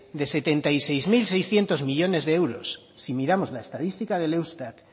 de setenta y seis mil seiscientos millónes de euros si miramos la estadística del eustat